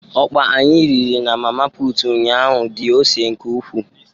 Ọkpa anyi riri na mama put ụnyahụ dị ose nke ukwu.